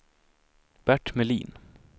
Bert Melin